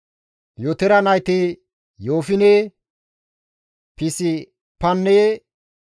Yootore nayti Yoofine, Pispanne Aare.